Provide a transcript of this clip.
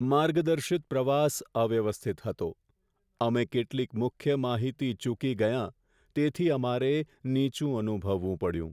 માર્ગદર્શિત પ્રવાસ અવ્યવસ્થિત હતો, અમે કેટલીક મુખ્ય માહિતી ચૂકી ગયાં, તેથી અમારે નીચું અનુભવવું પડ્યું.